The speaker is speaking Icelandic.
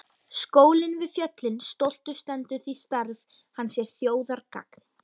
Skólinn við fjöllin stoltur stendur því starf hans er þjóðargagn.